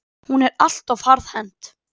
Hún er allt of harðhent.